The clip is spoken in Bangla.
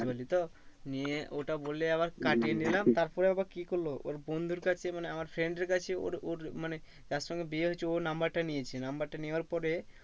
বুঝলি তো নিয়ে ওটা বলে আবার কাটিয়ে নিলাম তারপরে আবার কি করলো ওর বন্ধুর কাছে মানে আমার friend এর কাছে ওর ওর মানে যার সঙ্গে বিয়ে হয়েছে ও number টা নিয়েছে number টা নেওয়ার পরে